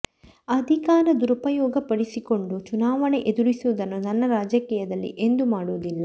ಅಧಿಕಾರ ದುರುಪಯೋಗ ಪಡಿಸಿಕೊಂಡು ಚುನಾವಣೆ ಎದುರಿಸುವುದನ್ನು ನನ್ನ ರಾಜಕೀಯದಲ್ಲಿ ಎಂದೂ ಮಾಡುವುದಿಲ್ಲ